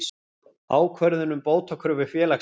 Ákvörðun um bótakröfu félagsins.